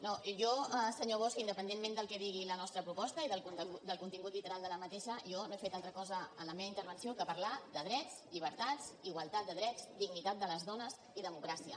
no jo senyor bosch independentment del que digui la nostra proposta i del contingut literal de la mateixa jo no he fet altra cosa en la meva intervenció que parlar de drets llibertats igualtat de drets dignitat de les dones i democràcia